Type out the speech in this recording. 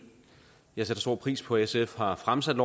jeg sætter stor pris på at sf har fremsat